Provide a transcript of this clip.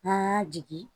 N'an y'a jigin